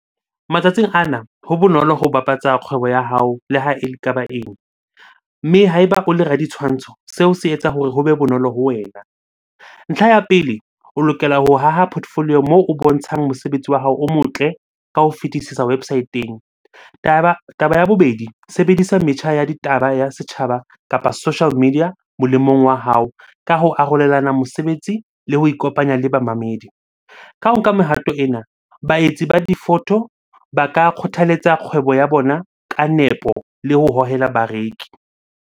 Matsatsing ana ho bonolo ho bapatsa kgwebo ya hao le ha ele kaba eng? Mme ha eba o le raditshwantsho, seo se etsa hore ho be bonolo ho wena. Ntlha ya pele, o lokela ho haha portfolio moo o bontshang mosebetsi wa hao o motle ka ho fetisisa website-eng. Taba ya bobedi, sebedisa metjha ya ditaba ya setjhaba kapa social media molemong wa hao ka ho arolelana mosebetsi le ho ikopanya le bamamedi. Ka ho nka mehato ena, baetsi ba difoto ba ka kgothaletsa kgwebo ya bona ka nepo le ho hohela bareki.